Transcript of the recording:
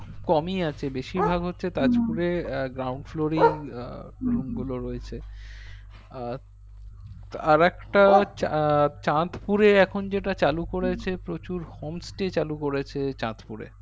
কমই আছে বেশির ভাগ হচ্ছে তাজপুরে আহ ground floor এই আহ room গুলো রয়েছে আহ আরেকটা আহ চাঁদপুরে এখন যেটা চালু করেছে প্রচুর home stay চালু করেছে চাঁদপুরে